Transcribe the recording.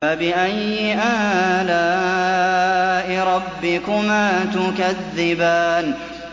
فَبِأَيِّ آلَاءِ رَبِّكُمَا تُكَذِّبَانِ